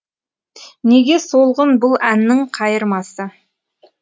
неге солғын бұл әннің қайырмасы